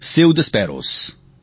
save the sparrows